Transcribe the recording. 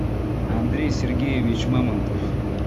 андрей сергеевич мамонтов